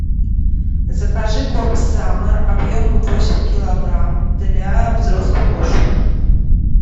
закажи корм саммер объемом восемь килограмм для взрослых кошек